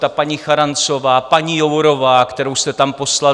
Ta paní Charanzová, paní Jourová, kterou jste tam poslal?